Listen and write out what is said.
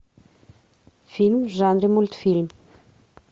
фильм в жанре мультфильм